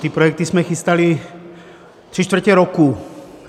Ty projekty jsme chystali tři čtvrtě roku.